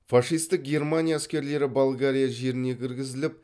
фашистік германия әскерлері болгария жеріне кіргізіліп